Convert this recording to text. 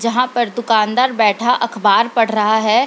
जहाँ पर दुकानदार बैठा अख़बार पढ़ रहा है।